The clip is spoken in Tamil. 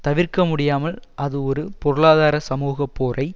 தவிர்க்க முடியாமல் அது ஒரு பொருளாதார சமூக போரை